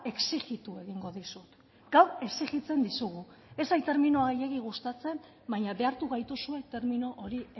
exijitu egingo dizut gaur exijitzen dizugu ez zait terminoa gehiegi gustatzen baina behartu gaituzue termino hori